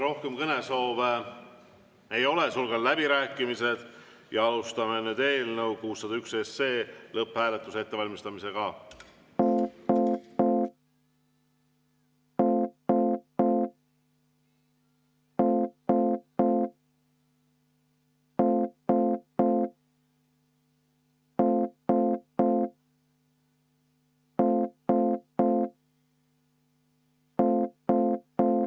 Rohkem kõnesoove ei ole, sulgen läbirääkimised ja alustame eelnõu 601 lõpphääletuse ettevalmistamist.